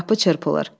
Qapı çırpılır.